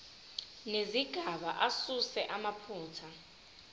nezigaba asuse amaphutha